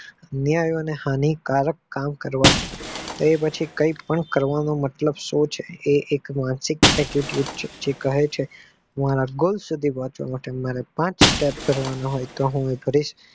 ન્યાય અને હાનિકારક કામ કરવા પડે તે પછી કઈ પણ કરવાનો મતલબ શું છે? માનસિક attitude છે જે કહે છે મારા goal સુધી પોંહચવા માટે મારા પાંચ step ભરવા પડે તો હું ભરીશ.